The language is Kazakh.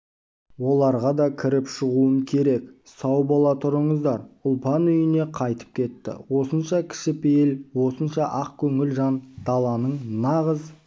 оларға да кіріп шығуым керек сау бола тұрыңыздар ұлпан үйіне қайтып кетті осынша кішіпейіл осынша ақ көңіл жан даланың нағыз